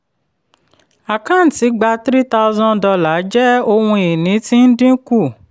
àkáǹtí gbà three thousand dollars jẹ́ ohun ìní tí ń dínkù.